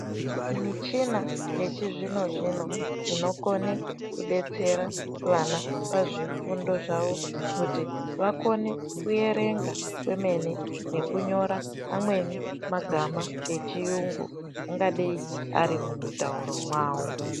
Michina yechizvino-zvino inokona kudetsera vana kuti pazvifundo zvavo kuti vakone kuverenga kwemene nekunyora amweni magama echiyungu angadei ari mumutauro mwavo.